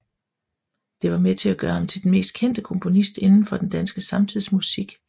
Det var med til at gøre ham til den mest kendte komponist inden for den danske samtidsmusik